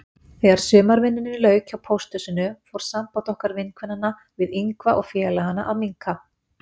Þegar sumarvinnunni lauk hjá pósthúsinu fór samband okkar vinkvennanna við Ingva og félagana að minnka.